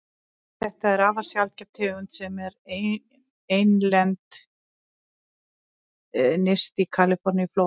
Þetta er afar sjaldgæf tegund sem er einlend nyrst í Kaliforníuflóa.